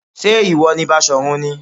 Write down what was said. Ṣé ìwọ ni Basọ̀run ni?